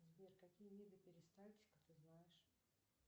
сбер какие виды перистальтика ты знаешь